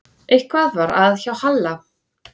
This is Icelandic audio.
Eitthvað var að hjá Halla.